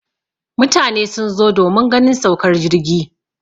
mutane sun zo domin ganin saukar jirgi